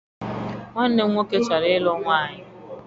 Nwanne m nwoke chọrọ ịlụ nwaanyị.